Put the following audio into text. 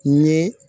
N ye